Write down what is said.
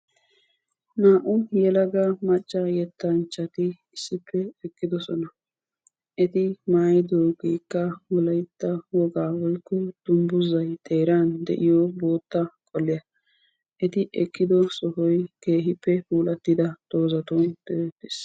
Naa"u yelaga macca yettanchchati issippe eqqidosona. Eti maayidoogeekka wolaytta wogaa woykko dungguzayi xerran de"iyo bootta qoliya eti ekkido sohoyi keehippe puulattida doozatun doodettis.